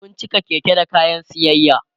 sun cika Keke da kayan siyayya